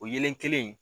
O yelen kelen in